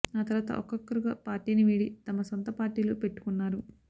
ఆ తర్వాత ఒక్కొక్కొరుగా పార్టీని వీడి తమ సొంత పార్టీలు పెట్టుకున్నారు